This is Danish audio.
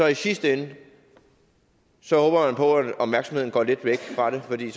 i sidste ende så håber på at opmærksomheden går lidt væk fra det fordi